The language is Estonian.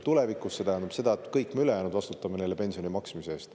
See tähendab aga seda, et kõik me ülejäänud vastutame neile pensioni maksmise eest.